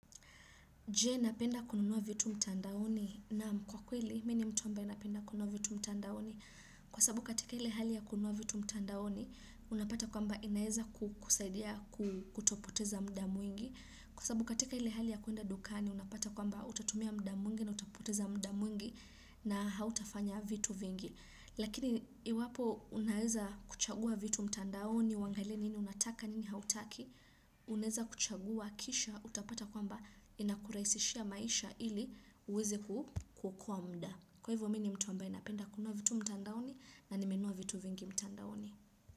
Jee napenda kununua vitu mtandaoni naam kwa kweli, mini mtu ambaye napenda kununua vitu mtandaoni. Kwa sababu katika hile hali ya kununua vitu mtandaoni, unapata kwa mba inaeza kukusaidia kutopoteza mda mwingi. Kwa sababu katika hile hali ya kuenda dukani, unapata kwa mba utatumia mda mwingi na utapoteza mda mwingi na hautafanya vitu vingi. Lakini iwapo unaeza kuchagua vitu mtandaoni uangalie nini unataka nini hautaki Unaeza kuchagua kisha utapata kwamba inakuraisishia maisha ili uweze ku kuokoa mda Kwa hivyo mini mtu ambaye napenda kununua vitu mtandaoni na nimenunua vitu vingi mtandaoni.